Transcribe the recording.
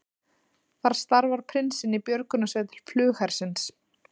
Þar starfar prinsinn í björgunarsveit flughersins